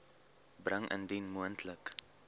bring indien moontlik